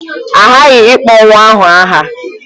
A ghaghị ịkpọ nwa ahụ aha.